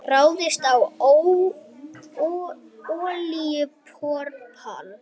Ráðist á olíuborpall